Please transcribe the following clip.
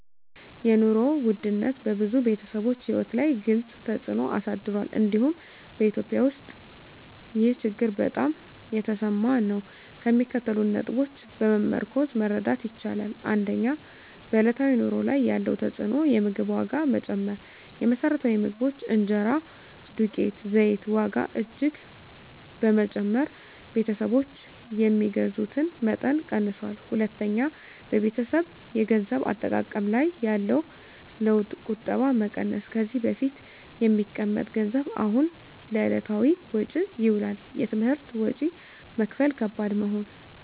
የኑሮ ውድነት በብዙ ቤተሰቦች ሕይወት ላይ ግልፅ ተፅዕኖ አሳድሯል፤ እንዲሁም በEthiopia ውስጥ ይህ ችግር በጣም የተሰማ ነው። ከሚከተሉት ነጥቦች በመመርኮዝ መረዳት ይቻላል፦ 1. በዕለታዊ ኑሮ ላይ ያለው ተፅዕኖ የምግብ ዋጋ መጨመር: የመሰረታዊ ምግቦች (እንጀራ፣ ዱቄት፣ ዘይት) ዋጋ እጅግ በመጨመር ቤተሰቦች የሚገዙትን መጠን ቀንሰዋል። 2. በቤተሰብ የገንዘብ አጠቃቀም ላይ ያለው ለውጥ ቁጠባ መቀነስ: ከዚህ በፊት የሚቀመጥ ገንዘብ አሁን ለዕለታዊ ወጪ ይውላል። የትምህርት ወጪ መክፈል ከባድ መሆን